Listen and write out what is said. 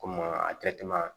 Komi a tɛ tɛmɛ